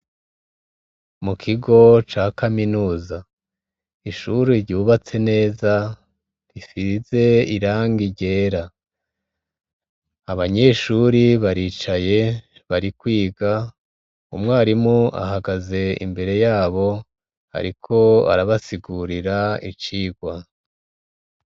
Mu kigo ca kaminuza ishuri ryubatse neza rifize iranga ryera abanyeshuri baricaye bari kwiga umwarimu ahagaze imbere yabo, ariko arabasigurira icia igwa.